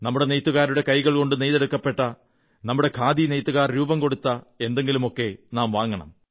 നമ്മുടെ നെയ്ത്തുകാരുടെ കൈകൾ കൊണ്ടു നെയ്തെടുക്കപ്പെട്ട നമ്മുടെ ഖാദി നെയ്ത്തുകാർ രൂപം കൊടുത്ത എന്തെങ്കിലുമൊക്കെ നാം വാങ്ങണം